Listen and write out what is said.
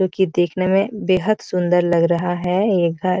क्यूंकि देखने में बेहद सुन्दर लग रहा है ये घर।